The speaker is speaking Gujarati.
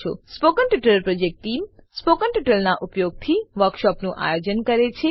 spoken tutorial project team spoken ટ્યુટોરીયલોનાં ઉપયોગથી વર્કશોપોનું આયોજન કરે છે